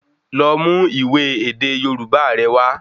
Lọ mú ìwé èdè Yorubá rẹ wa